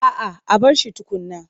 A'a a bar shi tukunna.